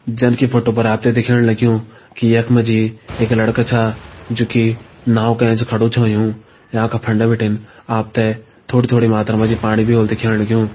जनकी फोटो पर आपते दिख्याण लग्युं की यखमा जी एक लड़का च जोकि नाओ का ऐंच खड़ू च हुयुं याका फंडा बिटिन आपते थोड़ी-थोड़ी मात्रा में पाणी भी होल दिख्याण लग्युं।